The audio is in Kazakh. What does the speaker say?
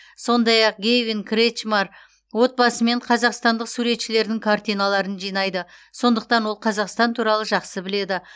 сондай ақ гэйвин кретчмар отбасымен қазақстандық суретшілердің картиналарын жинайды сондықтан ол қазақстан туралы жақсы біледі